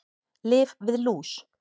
Lyf við lús